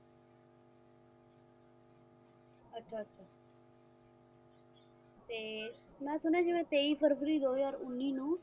ਤੇ ਮੈਂ ਸੁਣਿਆ ਹੈ ਜਿੱਦਾਂ ਤੇਈ february ਦੋ ਹਜ਼ਾਰ ਉੱਨੀ ਨੂੰ